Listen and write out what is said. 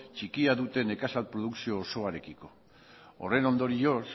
txikia dute nekazal produkzio osoarekiko horren ondorioz